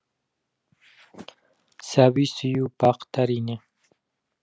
сәби сүю бақыт әрине